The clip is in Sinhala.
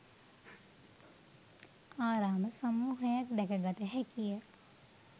ආරාම සමූහයක් දැක ගත හැකිය.